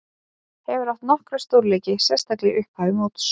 Hefur átt nokkra stórleiki, sérstaklega í upphafi móts.